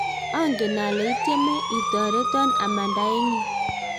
ongen ale itieme itoretoo amanda eng yun